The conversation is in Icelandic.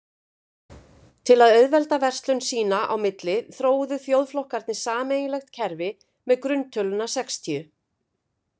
Til að auðvelda verslun sín á milli þróuðu þjóðflokkarnir sameiginlegt kerfi með grunntöluna sextíu.